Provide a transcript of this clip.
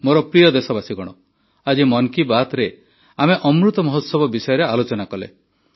ମୋର ପ୍ରିୟ ଦେଶବାସୀଗଣ ଆଜି ମନ୍ କୀ ବାତ୍ରେ ଆମେ ଅମୃତ ମହୋତ୍ସବ ବିଷୟରେ ଆଲୋଚନା କଲେ